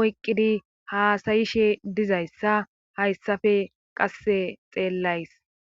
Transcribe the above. oyqqidi haasayishe dizayssa hayssafe qasse xeellays